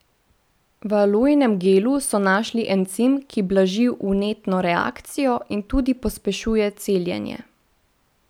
V alojinem gelu so našli encim, ki blaži vnetno reakcijo in tudi pospešuje celjenje.